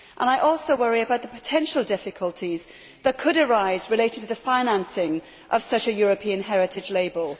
I also worry about the potential difficulties that could arise in relation to the financing of such a European Heritage Label.